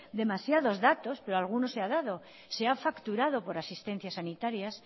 demasiados datos pero alguno se ha dado se ha facturado por asistencias sanitarias